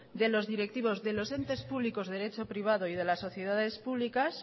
de los directivos de los entes públicos derecho privado y de las sociedades públicas